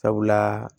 Sabula